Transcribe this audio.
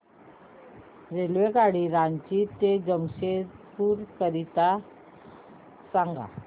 रेल्वेगाडी रांची ते जमशेदपूर करीता सांगा